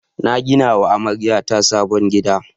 Na gina wa amaryata sabon gida.